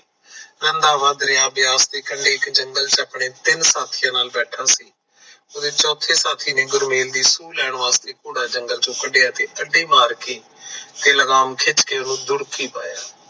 ਰੰਧਾਵਾ ਬਿਆਸ ਕੰਢੇ ਜੰਗਲ ਤੇ ਆਪਣੇ ਤਿੰਨ ਸਾਥੀਆਂ ਨਾਲ ਬੈਠਾ ਸੀ ਉਹਦੇ ਚੌਥੇ ਸਾਥੀ ਨੇ ਗੁਰਮੇਲ ਦੀ ਸੂਹ ਲੈਣ ਵਾਸਤੇ ਘੋੜਾ ਜੰਗਲ ਚੋਂ ਕੱਢਿਆ ਤੇ ਅੱਢੀ ਮਾਰ ਕੇ ਤੇ ਲਗਾਮ ਖਿੱਚ ਕੇ ਉਹਨੂੰ ਦੂਰਖੀ ਪਾਇਆ